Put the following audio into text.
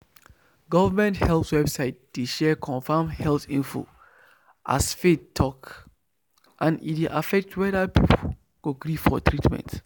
government health website dey share confirmed health info as faith talk and e dey affect whether people go gree for treatment.